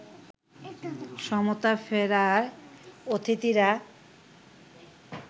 সমতা ফেরায় অতিথিরা